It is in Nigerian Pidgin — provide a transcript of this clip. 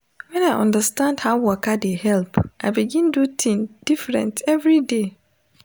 when i understand how waka dey help i begin do thing different every day.